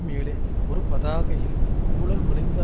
மேலே ஒரு பதாகையில் ஊழல் மலிந்த